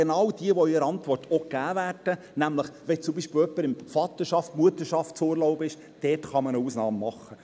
genau diejenigen, die in der Antwort auch gegeben werden, nämlich: Wenn zum Beispiel jemand im Vaterschafts- oder Mutterschaftsurlaub ist, kann man eine Ausnahme machen.